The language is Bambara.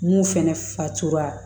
Mun fɛnɛ fatuwa